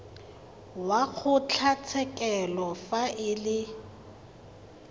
wa kgotlatshekelo fa e le